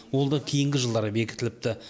ол да кейінгі жылдары бекітіліпті